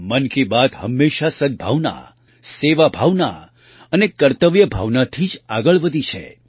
મન કી બાત હંમેશાં સદ્ ભાવના સેવા ભાવના અને કર્તવ્ય ભાવનાથી જ આગળ વધી છે